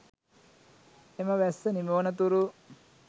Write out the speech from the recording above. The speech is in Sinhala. එම වැස්ස නිමවනතුරු